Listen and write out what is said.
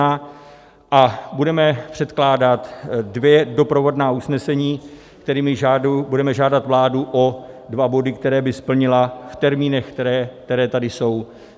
A budeme předkládat dvě doprovodná usnesení, kterými budeme žádat vládu o dva body, které by splnila v termínech, které tady jsou.